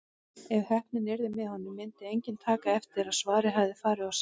Ef heppnin yrði með honum myndi enginn taka eftir að svarið hafði farið of seint.